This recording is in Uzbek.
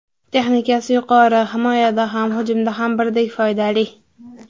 Texnikasi yuqori, himoyada ham, hujumda ham birdek foydali.